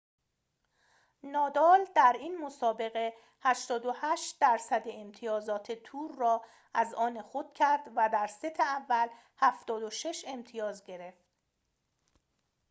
نادال در این مسابقه 88٪ امتیازات تور را از آن خود کرد و در ست اول، 76 امتیاز گرفت